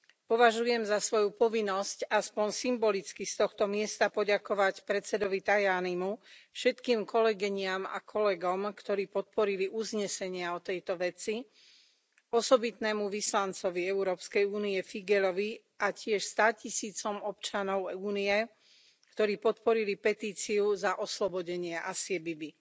Považujem za svoju povinnosť aspoň symbolicky z tohto miesta poďakovať predsedovi Tajanimu, všetkým kolegyniam a kolegom, ktorí podporili uznesenia o tejto veci, osobitnému vyslancovi Európskej únie Figeľovi a tiež státisícom občanov Únie, ktorí podporili petíciu za oslobodenie Asie Bibi.